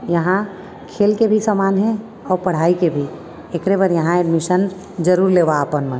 यहाँँ खेल के भी सामान हे और पढ़ाई के भी एकरे बर यहाँ एडमीशम जरूर लेवा आपन मन--